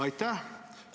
Aitäh!